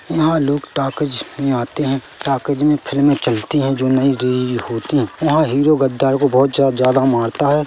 यहाँ लोग टॉकीज में आते है टॉकीज में फिल्में चलती है जो नई रिलीज होती है वहाँ हीरो गद्दार को बहुत ज्या -ज्यादा मारता हैं।